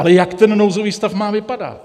Ale jak ten nouzový stav má vypadat?